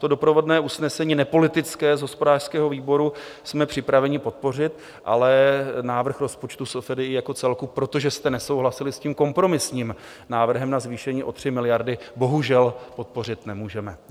To doprovodné usnesení, nepolitické, z hospodářského výboru, jsme připraveni podpořit, ale návrh rozpočtu SFDI jako celku, protože jste nesouhlasili s tím kompromisním návrhem na zvýšení o 3 miliardy, bohužel podpořit nemůžeme.